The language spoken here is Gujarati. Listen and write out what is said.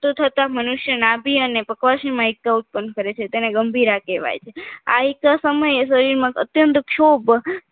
થતા મનુષ્ય નાભી અને પકવાસીમાં એકા ઉત્પન્ન કરે છે તેને ગંભીરા કહેવાય છે આ એકા સમયે શરીરમાં અત્યંત શોભ